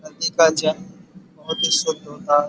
नदी का जल बहोत ही शुद्ध होता है।